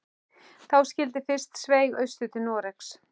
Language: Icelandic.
Þá skyldi fyrst sveigt austur til Noregs.